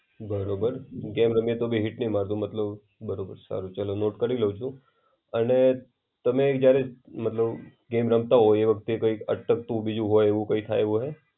બરોબર, ગેમ રમીયે તો બી હિટ નઈ મારતું મતલબ બરોબર. સારું ચલો નોટ કરી લવ છુ. અને તમે જયારે મતલબ ગેમ રમતા હોય એ વખતે કઈ અટકતું બીજો હોય એવું કઈ થાય એવું હોય?